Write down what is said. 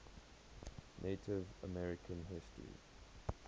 native american history